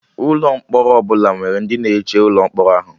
Ụlọ mkpọrọ ọbụla nwere ndị na-eche ụlọ mkpọrọ ahụ